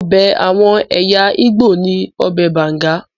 Ọbẹ̀ àwọn ẹ̀yà Igbo ni ọbẹ̀ banga.